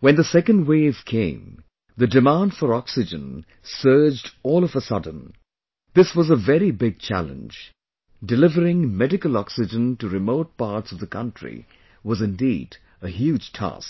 when the second wave came, the demand for oxygen surged all of a sudden...this was a very big challenge...delivering medical oxygen to remote parts of the country was indeed a huge task